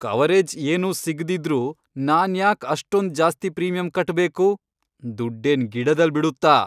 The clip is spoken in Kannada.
ಕವರೇಜ್ ಏನೂ ಸಿಗ್ದಿದ್ರೂ ನಾನ್ಯಾಕ್ ಅಷ್ಟೊಂದ್ ಜಾಸ್ತಿ ಪ್ರೀಮಿಯಂ ಕಟ್ಬೇಕು, ದುಡ್ಡೇನ್ ಗಿಡದಲ್ ಬಿಡುತ್ತಾ?!